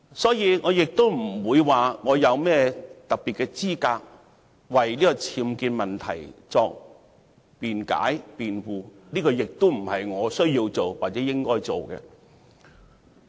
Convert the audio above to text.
所以，我並沒有甚麼特別的資格為鄭若驊女士的僭建問題作辯解或辯護，這亦不是我需要做或應該做的事。